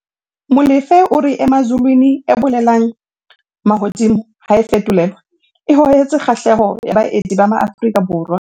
Molefe o re Emazulwini, e bolelang 'mahodimo' ha e fetolelwa, e hohetse kgahlehelo ya baeti ba maAfrika